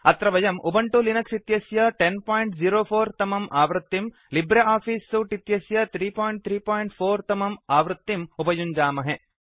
अत्र वयम् Ubuntu Linux इत्यस्य 1004 तमम् आवृत्तिं लिब्रे आफिस् सूट् इत्यस्य 334 तमम् आवृत्तिं उपयुञ्जामहे